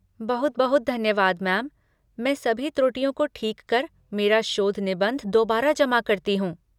बहुत बहुत धन्यवाद मैम, मैं सभी त्रुटियों को ठीक कर मेरा शोध निबंध दोबारा जमा करती हूँ।